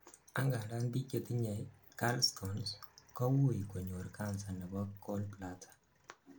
angandan biik chetinyei gallstones kowuui konyor cancer nebo gallbladder